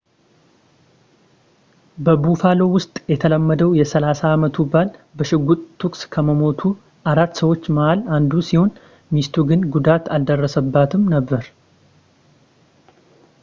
በbuffalo ውስጥ የተወለደው የ30 አመቱ ባል፣ በሽጉጥ ተኩስ ከሞቱት አራት ሰዎች መሐል አንዱ ሲሆን፣ ሚስቱ ግን ጉዳት አልደረሰባትም ነበር